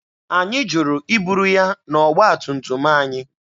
Anyị jụrụ iburu ya n'ọgba tum tum anyị.